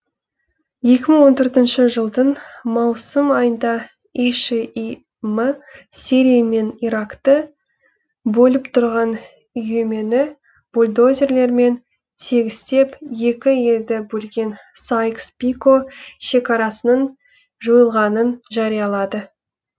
екі мың он төртінші жылдың маусым айында и ш и м сирия мен иракты бөліп тұрған үймені бульдозерлермен тегістеп екі елді бөлген сайкс пико шекарасының жойылғанын жариялады